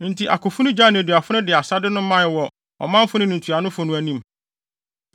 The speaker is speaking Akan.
Enti akofo no gyaee nneduafo no de asade no mae wɔ ɔmanfo no ne ntuanofo no anim.